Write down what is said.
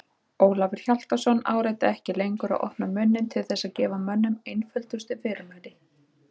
Ólafur Hjaltason áræddi ekki lengur að opna munninn til þess að gefa mönnum einföldustu fyrirmæli.